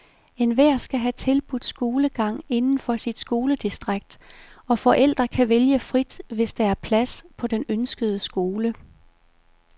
Enhver skal have tilbudt skolegang inden for sit skoledistrikt, og forældre kan vælge frit, hvis der er plads på den ønskede skole.